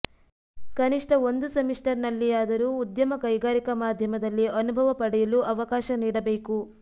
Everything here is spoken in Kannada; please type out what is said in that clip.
ಕನಿಷ್ಠ ಒಂದು ಸೆಮಿಸ್ಟರ್ ನಲ್ಲಿಯಾದರೂ ಉದ್ಯಮ ಕೈಗಾರಿಕಾ ಮಾಧ್ಯಮದಲ್ಲಿ ಅನುಭವ ಪಡೆಯಲು ಅವಕಾಶ ನೀಡಬೇಕು